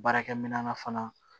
Baarakɛminɛn na fana